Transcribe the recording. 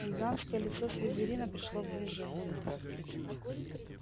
гигантское лицо слизерина пришло в движение